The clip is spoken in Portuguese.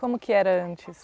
Como que era antes?